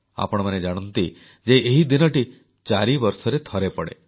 ଆପଣମାନେ ଜାଣନ୍ତି ଯେ ଏହି ଦିନଟି ଚାରିବର୍ଷରେ ଥରେ ପଡ଼େ